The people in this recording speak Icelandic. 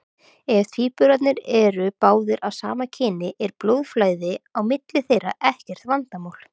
Ef tvíburarnir eru báðir af sama kyni er blóðflæði á milli þeirra ekkert vandamál.